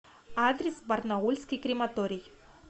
адрес барнаульский крематорий